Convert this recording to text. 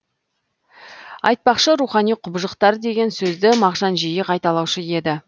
айтпақшы рухани құбыжықтар деген сөзді мағжан жиі қайталаушы еді